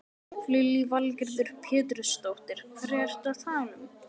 Lillý Valgerður Pétursdóttir: Hverja ertu að tala um?